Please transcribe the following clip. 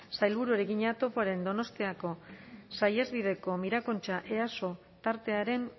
sailburuari egina topoaren donostiako saihesbideko mirakontxa easo tartearen